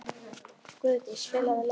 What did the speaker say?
Guðdís, spilaðu lag.